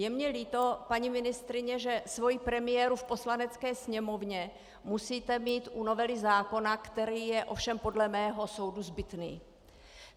Je mně líto, paní ministryně, že svoji premiéru v Poslanecké sněmovně musíte mít u novely zákona, který je ovšem podle mého soudu zbytný.